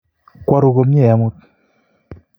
Kweruu komnyei amut?